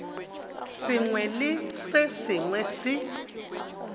sengwe le se sengwe se